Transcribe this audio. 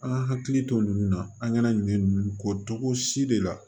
An ka hakili to ninnu na an kana ɲinɛ ninnu ko cogo si de la